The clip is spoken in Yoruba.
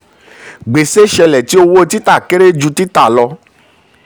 gbèsè ṣẹlẹ̀ tí owó tita kéré ju títà lọ.